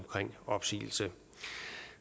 opsigelse